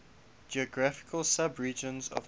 geographical subregions of asia